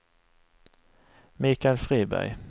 Michael Friberg